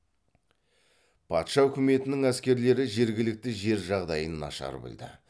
патша үкіметінің әскерлері жергілікті жер жағдайын нашар білді